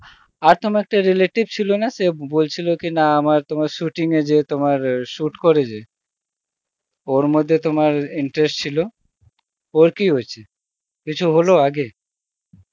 আর তোমার একটা রিলেটিভ ছিল না সে বলছিল কি না আমার তোমার shooting এ যেত তোমার সূত করে যে, ওর মধ্যে তোমার ইন্টারেস্ট ছিল, ওর কি হয়েছে, কিছু হলো আগে?